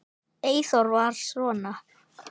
Eyþór var svona.